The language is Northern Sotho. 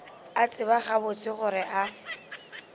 a tseba gabotse gore a